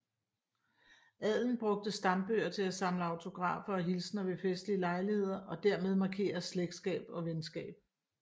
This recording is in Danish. Adelen brugtes stambøger til at samle autografer og hilsner ved festlige lejligheder og dermed markere slægtskab og venskab